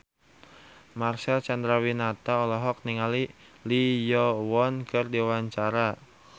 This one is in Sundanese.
Marcel Chandrawinata olohok ningali Lee Yo Won keur diwawancara